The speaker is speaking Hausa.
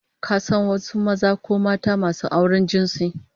Ka san wasu maza ko mata masu auren jinsi?